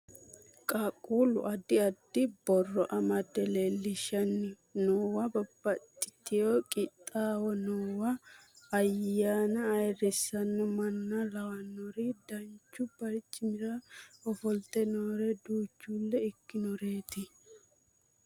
Qaaqquullu addi addi borro amadde leellishshanni noowa babbaxxiteyo qixxaawo noowa ayyaana ayeerrisanno manna lawannori danchu barcimira ofolte noore danchuulle ikkinoreeti